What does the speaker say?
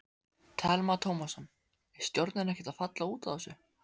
Telma Tómasson: Er stjórnin ekkert að falla út af þessu?